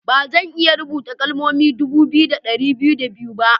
Ba zan iya rubuta kalmomi dubu biyu da dari biyu da biyu ba.